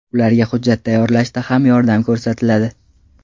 Ularga hujjat tayyorlashda ham yordam ko‘rsatiladi.